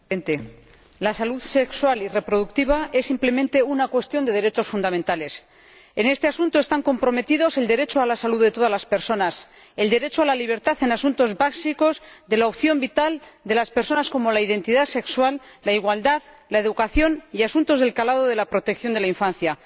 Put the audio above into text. Señor Presidente, la salud sexual y reproductiva es, simplemente, una cuestión de derechos fundamentales. En este asunto están comprometidos el derecho a la salud de todas las personas, el derecho a la libertad en asuntos básicos de la opción vital de las personas, como la identidad sexual, la igualdad, la educación y asuntos del calado de la protección de la infancia.